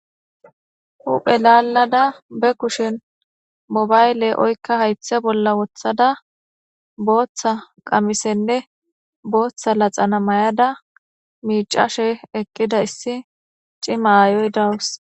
Huphe lalada ba kushen boyibale oyika hayitha bolla wothada botha qamisenee botha laxana mayada micashe eqida issi cima ayoyiidawus